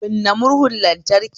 Kunna murhun lantraki